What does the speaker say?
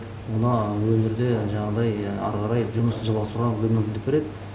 оны өңірде жаңағыдай әрі қарай жұмысын жалғастыруға мүмкіндік береді